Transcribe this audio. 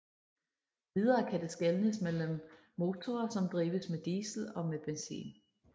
Videre kan det skelnes mellem motorer som drives med diesel og med benzin